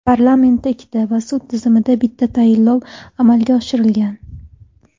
Parlamentda ikkita va sud tizimida bitta tayinlov amalga oshirilgan.